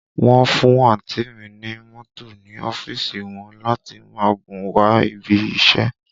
Wọ́n fún àǹtí ì mi ní mọ́tò ní ọ́fíìsì wọn láti máa gùn wá ibi iṣẹ́